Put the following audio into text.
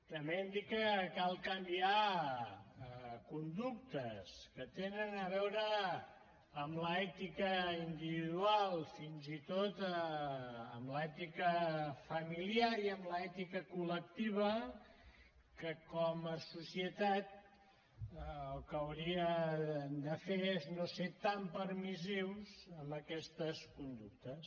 també hem dit que cal canviar conductes que tenen a veure amb l’ètica individual fins i tot amb l’ètica familiar i amb l’ètica col·lectiva que com a societat el que hauria de fer és no ser tan permissius amb aquestes conductes